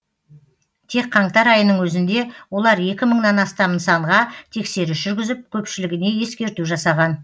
тек қаңтар айының өзінде олар екі мыңнан астам нысанға тексеріс жүргізіп көпшілігіне ескерту жасаған